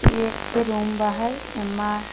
इ एक ठे रूम बा है। एमा --